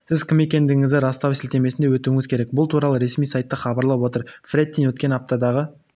сіз кім екендігіңізді растау сілтемесіне өтуіңіз керек бұл туралы ресми сайты хабарлап отыр фрэттин өткен аптадағы